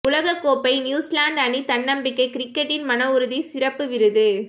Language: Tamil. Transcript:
உலகக் கோப்பை நியூசிலாந்து அணி தன்னம்பிக்கை கிரிக்கெட்டின் மன உறுதி சிறப்பு விருது